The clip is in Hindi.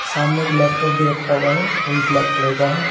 सामने एक लैपटॉप भी रखा हुआ है और ब्लैक कलर का है।